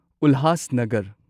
Ulhasnagar